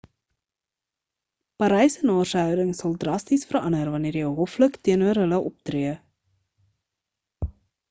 parysenaars se houding sal drasties verander wanneer jy hoflik teenoor hulle optree